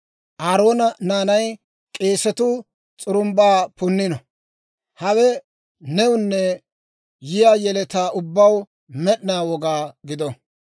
Aaroona naanay k'eesatuu s'urumbba punnino. Hawe newunne yiyaa yeletaa ubbaw med'ina woga gido.